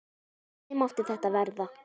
Hvernig mátti þetta verða?